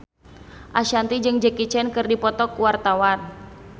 Ashanti jeung Jackie Chan keur dipoto ku wartawan